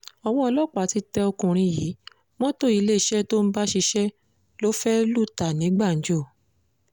owó ọlọ́pàá ti tẹ ọkùnrin yìí mọ́tò iléeṣẹ́ tó ń bá ṣiṣẹ́ ló fẹ́ẹ́ lù ta ní gbàǹjo